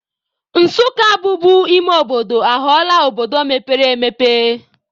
Nsukka bubu ime obodo, aghọọla obodo mepere emepe.